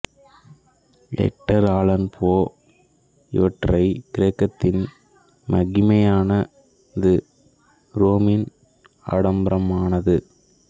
Edgar Allan Poe இவற்றை கிரேக்கத்தின் மகிமையானது ரோமின் ஆடம்பரமானது